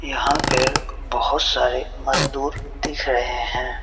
यहां पर बहुत सारे मजदूर दिख रहे हैं।